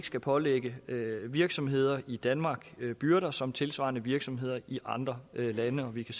skal pålægge virksomheder i danmark de samme byrder som tilsvarende virksomheder i andre lande og vi kan